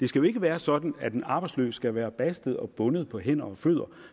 skal være sådan at en arbejdsløs skal være bastet og bundet på hænder og fødder